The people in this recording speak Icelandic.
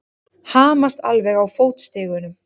Hamast alveg á fótstigunum!